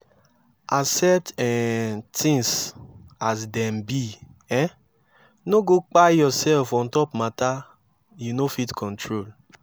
accept um tins as dem be um no go kpai urself on top mata yu no fit control